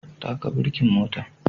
Taka birkin motan